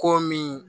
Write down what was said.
Ko min